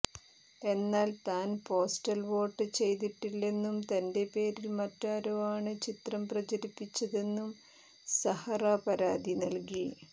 എന്നാൽ താൻ postal vote ചെയ്തിട്ടില്ലെന്നും തന്റെ പേരിൽ മറ്റാരോ ആണ് ചിത്രം പ്രചരിപ്പിച്ചതെന്നും സഹറ പരാതി നൽകി